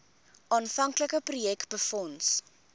aanvanklike projek befonds